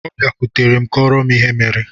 Ọbịakwụtere m kọọrọ m ihe mere.